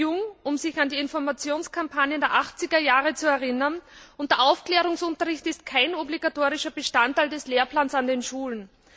Sie sind zu jung, um sich an die Informationskampagnen der 80er Jahre zu erinnern, und der Aufklärungsunterricht ist kein obligatorischer Bestandteil des Lehrplans an den Schulen.